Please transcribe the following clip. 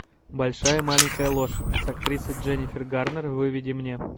большая маленькая ложь с актрисой дженнифер гарнер выведи мне